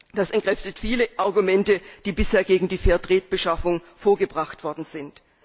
Das entkräftet viele Argumente, die bisher gegen die Fair Trade Beschaffung vorgebracht worden sind.